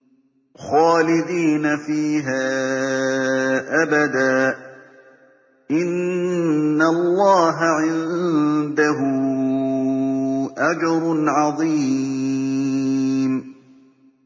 خَالِدِينَ فِيهَا أَبَدًا ۚ إِنَّ اللَّهَ عِندَهُ أَجْرٌ عَظِيمٌ